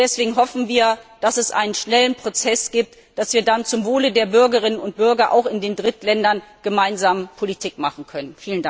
Deswegen hoffen wir, dass es einen schnellen Prozess gibt, damit wir dann zum Wohle der Bürgerinnen und Bürger auch in den Drittländern gemeinsam Politik machen können.